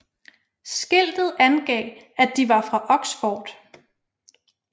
Skiltet angav at de var fra Oxford